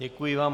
Děkuji vám.